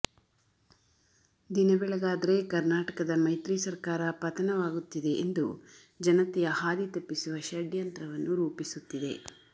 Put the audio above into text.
ದಿನ ಬೆಳಗಾದರೆ ಕರ್ನಾಟಕದ ಮೈತ್ರಿ ಸರಕಾರ ಪತನವಾಗುತ್ತಿದೆ ಎಂದು ಜನತೆಯ ಹಾದಿ ತಪ್ಪಿಸುವ ಷಡ್ಯಂತ್ರವನ್ನು ರೂಪಿಸುತ್ತಿದೆ